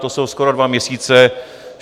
To jsou skoro dva měsíce.